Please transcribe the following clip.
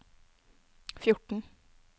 fjorten